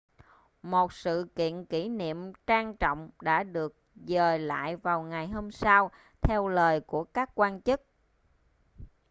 một sự kiện kỷ niệm trang trọng đã được dời lại vào ngày hôm sau theo lời của các quan chức